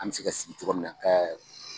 An mɛ se ka sigi cogo min na kɛ